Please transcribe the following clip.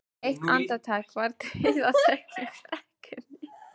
Eitt andartak var dauðaþögn í brekkunni.